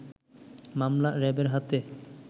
মামলা র‌্যাবের হাতে